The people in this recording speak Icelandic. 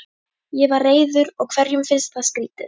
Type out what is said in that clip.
Ég var reiður og hverjum finnst það skrýtið?